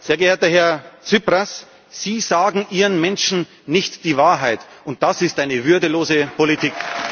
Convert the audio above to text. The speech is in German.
Sehr geehrter Herr Tsipras, Sie sagen Ihren Menschen nicht die Wahrheit, und das ist eine würdelose Politik!